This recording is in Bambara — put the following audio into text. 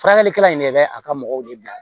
Furakɛlikɛla in de bɛ a ka mɔgɔw de bila